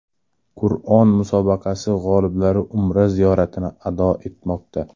Qur’on musobaqasi g‘oliblari Umra ziyoratini ado etmoqda .